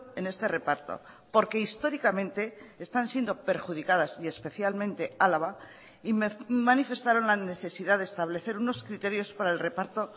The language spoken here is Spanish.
en este reparto porque históricamente están siendo perjudicadas y especialmente álava y manifestaron la necesidad de establecer unos criterios para el reparto